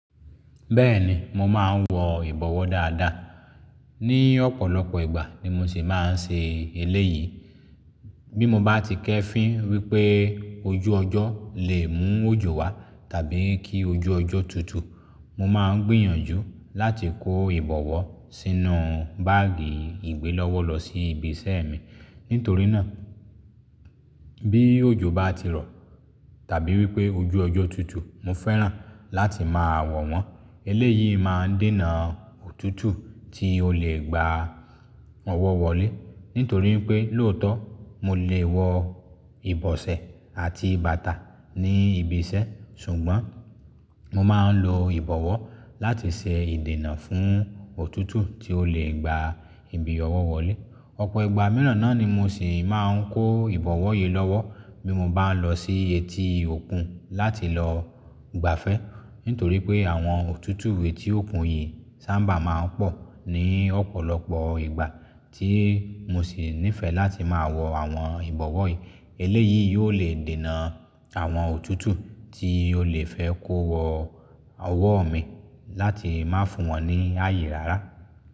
Bẹ́ẹ̀ni, mo máa ń wọ ìbọwọ́ dáadáa. Ni ọ̀pọ̀lọpọ̀ ìgbà ni mo sì máa ń ṣe eléyìí. Bí mo bá ti kẹ́ fín wípé ojú ọjọ́ lè mú òjò wá tàbí kí ojú ọjọ́ tutù, mo máa ń gbìyànjú láti kó ìbọwọ́ sínú báàgì ìgbẹ́lọ́wọ́ lọ sí ibi iṣẹ́ mi. Nítorí náà, bí òjò bá ti rọ̀ tàbí wípé ojú ọjọ́ tutù, mo fẹ́ràn láti máa wọ̀ wọ́n. Eléyìí máa ń dènà òtútù tí ó lè gba ọwọ́ wọlé. Nítorí pé lóòótọ́ mo lè wọ ìbọ̀sẹ̀ àti bàtà ní ibi iṣẹ́, ṣùgbọ́n mo máa ń lo ìbọwọ́ láti ṣe ìdènà fún òtútù tí ó lè gba ibi ọwọ́ wọlé. Ọ̀pọ̀ ìgbà mìíràn náà ni mo sì máa ń kó ìbọwọ́ yìí lọ́wọ́ bí mo bá ń lọ sí etí òkun láti lọ gbafẹ́. Nítorí pé àwọn òtútù etí òkun yìí sábà máa ń pọ̀ ní ọ̀pọ̀lọpọ̀ ìgbà tí mo sì nífẹ̀ẹ́ láti máa wọ àwọn ìbọwọ́ yìí. Eléyìí yóò lè dènà àwọn òtútù tí ó lè fẹ́ kó wọ ọwọ́ mi láti má fún wọn ní àyè rárá.